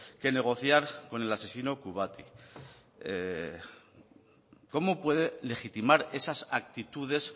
que negociar con el asesino kubati cómo puede legitimar esas actitudes